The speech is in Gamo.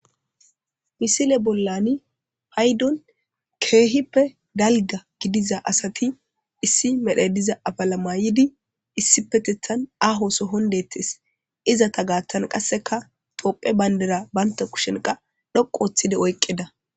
Missile bollan paydon kehippe dalga gidiza asati issi medhoy diza afila mayidi issippetethan aho sohon dettes izeta gathan qasekatoohiya bandira banta kushen oyqidi dhoqu othidi oyqida